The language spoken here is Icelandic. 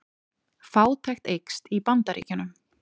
Fátækt eykst í Bandaríkjunum